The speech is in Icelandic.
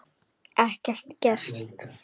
Ekkert gert?